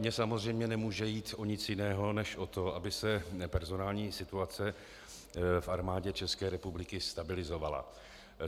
Mně samozřejmě nemůže jít o nic jiného než o to, aby se personální situace v Armádě České republiky stabilizovala.